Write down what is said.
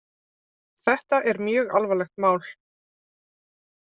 Þetta er mjög alvarlegt mál